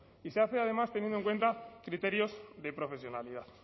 y se hace además teniendo en cuenta criterios de profesionalidad